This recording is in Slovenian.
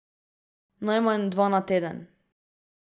Najmanj dva na teden.